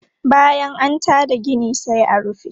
Bayan an ta da gina sai a rufe.